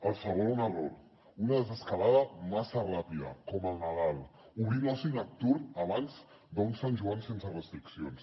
el segon error una desescalada massa ràpida com al nadal obrir l’oci nocturn abans d’un sant joan sense restriccions